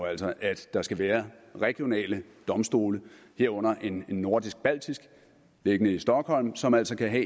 altså at der skal være regionale domstole herunder en nordisk baltisk beliggende i stockholm som altså kan